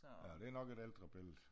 Ja det nok et ældre billede